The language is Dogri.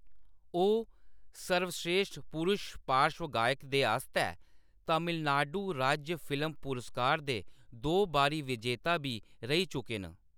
ओह्‌‌ सर्वस्रेश्ठ पुरश पार्श्व गायक दे आस्तै तमिलनाडु राज्य फिल्म पुरस्कार दे दो बारी विजेता बी रेही चुके न।